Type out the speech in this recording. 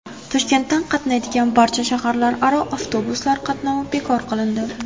Toshkentdan qatnaydigan barcha shaharlararo avtobuslar qatnovi bekor qilindi.